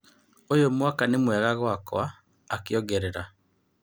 " ũyũ mwaka nĩ mwega gwaakwa" akĩongerera.